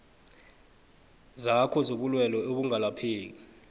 zakho zobulwelwe obungalaphekiko